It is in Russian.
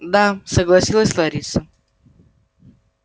да согласилась лариса